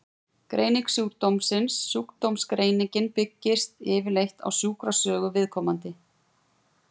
Greining sjúkdómsins Sjúkdómsgreiningin byggist yfirleitt á sjúkrasögu viðkomandi.